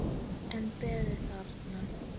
En beið þarna.